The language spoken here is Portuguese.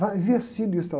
Vai investir nisso e tal